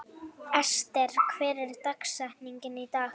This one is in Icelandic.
Ester, hver er dagsetningin í dag?